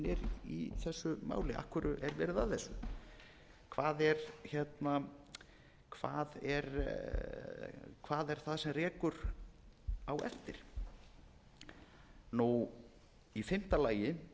í þessu máli af hverju er verið að þessu hvað er það sem rekur á eftir í fimmta lagi